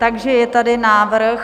Takže je tady návrh...